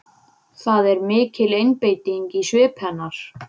Það er mikil einbeiting í svip hennar.